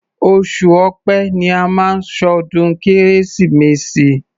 Oṣù Ọ̀pẹ ni a máa ń ṣọdún Kérésìmesì.